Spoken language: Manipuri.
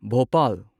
ꯚꯣꯄꯥꯜ